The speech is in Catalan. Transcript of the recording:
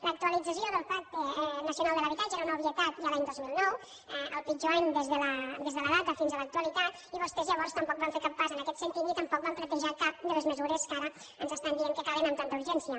l’actualització del pacte nacional per a l’habitatge era una obvietat ja l’any dos mil nou el pitjor any des de la data fins a l’actualitat i vostès llavors tampoc van fer cap pas en aquest sentit ni tampoc van plantejar cap de les mesures que ara ens estan dient que calen amb tanta urgència